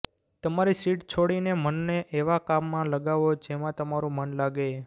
તમારી સીટ છોડીને મનને એવા કામમાં લગાવો જેમાં તમારું મન લાગે